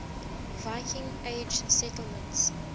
viking age settlements